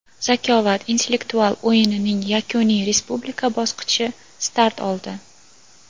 "Zakovat" intellektual o‘yinining yakuniy Respublika bosqichi start oldi.